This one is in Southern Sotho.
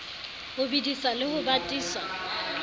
ho bedisa le ho batisa